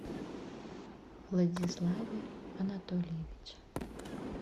владиславе анатольевиче